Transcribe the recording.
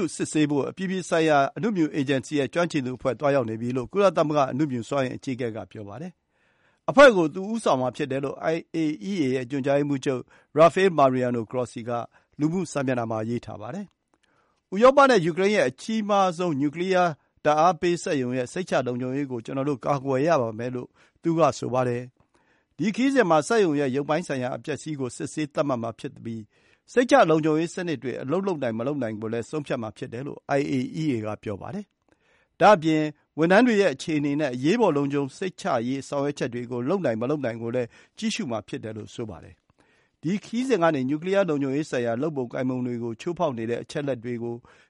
ုစစ်ဆေးဖို့ အပြည်ပြည်ဆိုင်ရာ အနုမြူအေဂျင်စီ (IAEA) ရဲ့ ကျွမ်းကျင်သူတွေ သွားရောက်နေပြီလို့ ကုလသမဂ္ဂ အနုမြူစွမ်းအင် အကြီးအကဲက ပြောပါတယ်။ အဖွဲ့ကို သူ ဦးဆောင်မှာဖြစ်တယ်လို့ IAEA ရဲ့ ညွှန်ကြားရေးမှူးချုပ် Rafael Mariano Grossi က လူမှုစာမျက်နှာမှာ ရေးထားပါတယ်။ “ဥရောပနဲ့ယူကရိန်းရဲ့ အကြီးဆုံး နျူကလီယားဓာတ်အားပေးစက်ရုံရဲ့ စိတ်ချလုံခြုံရေးကို ကျနော်တို့ ကာကွယ်ရပါမယ်” လို့ သူက ဆိုပါတယ်။ ဒီ ခရီးစဉ်မှာ စက်ရုံရဲ့ရုပ်ပိုင်းဆိုင်ရာ အပျက်အစီးကို စစ်ဆေးသတ်မှတ်မှာ ဖြစ်ပြီး စိတ်ချလုံခြုံရေးစနစ်တွေ အလုပ်လုပ်နိုင် မလုပ်နိုင်ကို ဆုံးဖြတ်မှာဖြစ်တယ်လို့ IAEA က ပြောပါတယ်။ ဒါ့အပြင် ဝန်ထမ်းတွေရဲ့အခြေအနေနဲ့ အရေးပေါ် လုံခြုံစိတ်ချရေး ဆောင်ရွက်ချက်တွေကို လုပ်နိုင်မလုပ်နိုင်ကိုလည်း ကြည့်ရှုမှာ ဖြစ်တယ် လို့ ဆိုပါတယ်။ ဒီ ခရီးစဉ်ကနေ နျူကလီယား လုံခြုံရေးဆိုင်ရာ လုပ်ပုံကိုင်ပုံတွေကို ချိုးဖောက်နေတဲ့ အချက်အလက်တွေ